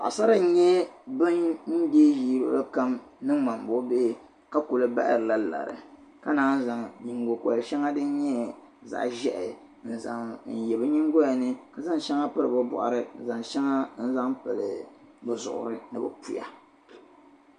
paɣasara nyɛ bin dee ʒii luɣili kam ni ŋmambuɣi bihi ka kuli bahiri la lari ka naan zaŋ nyingo kori shɛŋa din nyɛ zaɣa ʒehi n zaŋ ye bɛ nyingoya ni ka zaŋ shɛŋa piri bɛ bɔɣuni ka zaŋ shɛŋa zaŋ pili bɛ zuɣuri ni bɛ puya